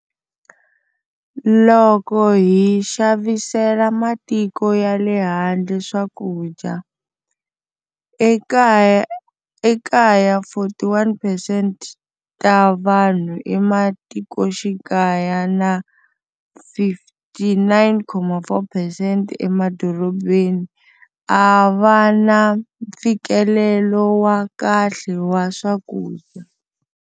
Loko hi xavisela matiko ya le handle swakudya, ekaya 41 percent ta vanhu ematikoxikaya na 59,4 percent emadorobeni a va na mfikelelo wa kahle wa swakudya.